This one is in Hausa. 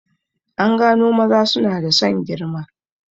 An gano maza suna da son girma